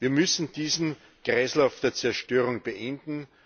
Wir müssen diesen Kreislauf der Zerstörung beenden.